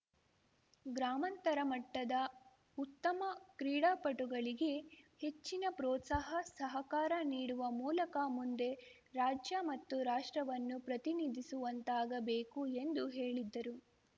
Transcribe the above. ಗ್ರಾಮಾಂತರ ಮಟ್ಟದ ಉತ್ತಮ ಕ್ರೀಡಾಪಟುಗಳಿಗೆ ಹೆಚ್ಚಿನ ಪ್ರೊತ್ಸಾಹ ಸಹಕಾರ ನೀಡುವ ಮೂಲಕ ಮುಂದೆ ರಾಜ್ಯ ಮತ್ತು ರಾಷ್ಟ್ರವನ್ನು ಪ್ರತಿನಿಧಿಸುವಂತಾಗಬೇಕು ಎಂದು ಹೇಳಿದ್ದರು